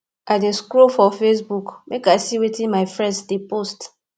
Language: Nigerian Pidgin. i dey scroll for facebook make i see wetin my friends dey post